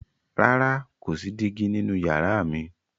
Rara, ko si digi ninu yara mi.